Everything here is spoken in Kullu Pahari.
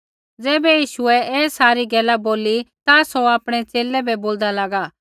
ज़ैबै यीशुऐ ऐ सारी गैला बोली ता सौ आपणै च़ेले बै बोलदा लागा